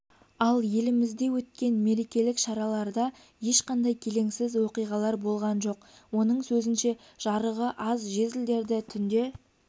ал елімізде өткен мерекелік шараларда ешқандай келеңсіз оқиғалар болған жоқ оның сөзінше жарығы аз жезлдерді түнде